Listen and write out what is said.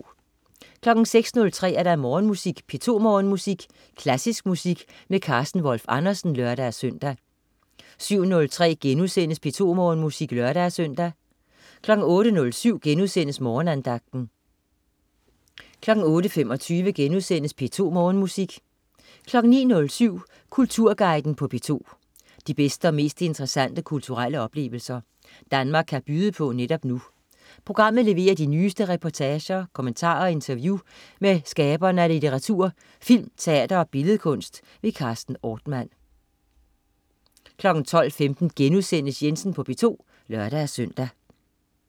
06.03 P2 Morgenmusik. Klassisk musik med Carsten Wolf Andersen (lør-søn) 07.03 P2 Morgenmusik* (lør-søn) 08.07 Morgenandagten* 08.25 P2 Morgenmusik* 09.07 Kulturguiden på P2. De bedste og mest interessante kulturelle oplevelser, Danmark kan byde på netop nu. Programmet leverer de nyeste reportager, kommentarer og interview med skaberne af litteratur, film, teater og billedkunst. Carsten Ortmann 12.15 Jensen på P2* (lør-søn)